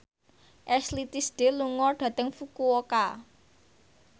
Ashley Tisdale lunga dhateng Fukuoka